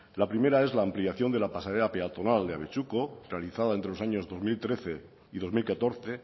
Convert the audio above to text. la primera es la ampliación de la pasarela peatonal de abetxuko realizada entre los años dos mil trece y dos mil catorce